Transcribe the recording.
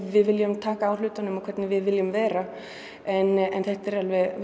við viljum taka á hlutunum hvernig við viljum vera þetta er